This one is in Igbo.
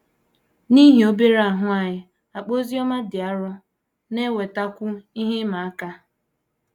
N’ihi obere ahụ anyị, akpa oziọma dị arọ na - ewetakwu ihe ịma aka.